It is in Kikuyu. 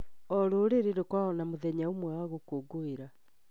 O rũrĩrĩ rũkoragwo na mũthenya ũmwe wa gũkũngũĩra.